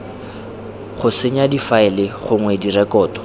go senya difaele gongwe direkoto